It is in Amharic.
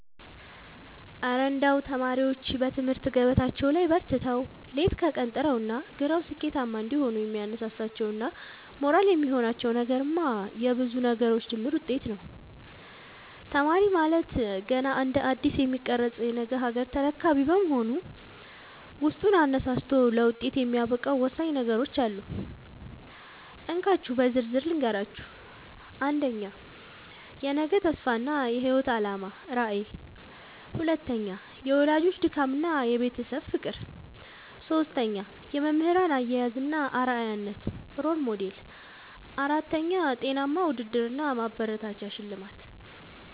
እረ እንደው ተማሪዎች በትምህርት ገበታቸው ላይ በርትተው፣ ሌት ከቀን ጥረውና ግረው ስኬታማ እንዲሆኑ የሚያነሳሳቸውና ሞራል የሚሆናቸው ነገርማ የብዙ ነገሮች ድምር ውጤት ነው! ተማሪ ማለት ገና እንደ አዲስ የሚቀረጽ የነገ ሀገር ተረካቢ በመሆኑ፣ ውስጡን አነሳስቶ ለውጤት የሚያበቃው ወሳኝ ነገሮች አሉ፤ እንካችሁ በዝርዝር ልንገራችሁ - 1. የነገ ተስፋ እና የህይወት አላማ (ራዕይ) 2. የወላጆች ድካምና የቤተሰብ ፍቅር 3. የመምህራን አያያዝ እና አርአያነት (Role Model) 4. ጤናማ ውድድር እና ማበረታቻ (ሽልማት)